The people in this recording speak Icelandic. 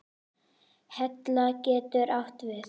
Hella getur átt við